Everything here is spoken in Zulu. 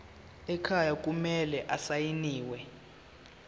ekhaya kumele asayiniwe